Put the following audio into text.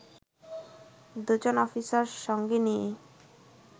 দুজন অফিসার সঙ্গে নিয়ে